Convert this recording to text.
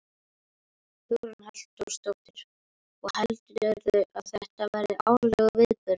Hugrún Halldórsdóttir: Og heldurðu að þetta verði árlegur viðburður?